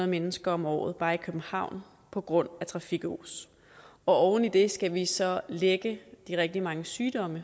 mennesker om året bare i københavn på grund af trafikos oven i det skal vi så lægge de rigtig mange sygdomme